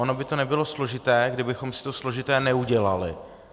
Ono by to nebylo složité, kdybychom si to složité neudělali.